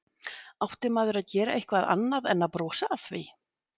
Átti maður að gera eitthvað annað en að brosa að því?